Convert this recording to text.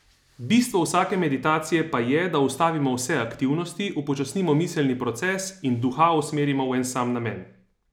Bistvo vsake meditacije pa je, da ustavimo vse aktivnosti, upočasnimo miselni proces in duha usmerimo v en sam namen.